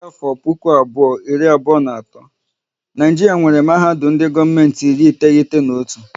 Dịka afọ puku abụọ iri abụọ na atọ, Naijiria nwéré mahadum ndị gọọmenti iri iteghete na otu